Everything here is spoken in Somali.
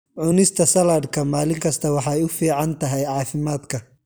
Cunista saladhka maalin kasta waxay u fiican tahay caafimaadka.